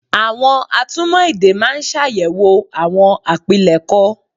Àwọn atúmọ̀ èdè máa ń ṣàyẹ̀wò àwọn àpilẹ̀kọ